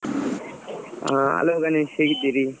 ಹಾ hello ಗಣೇಶ್ ಹೇಗಿದ್ದೀರಿ?